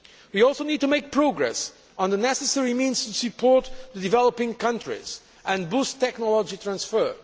We also need to make progress on the necessary means to support developing countries and boost technology transfer.